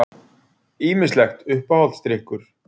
Ýmislegt Uppáhaldsdrykkur?